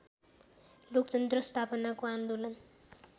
लोकतन्त्र स्थापनाको आन्दोलन